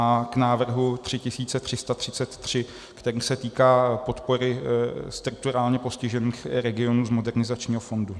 a k návrhu 3333, který se týká podpory strukturálně postiženích regionů z Modernizačního fondu.